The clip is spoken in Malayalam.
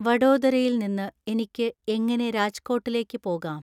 വഡോദരയിൽ നിന്ന് എനിക്ക് എങ്ങനെ രാജ്കോട്ടിലേക്ക് പോകാം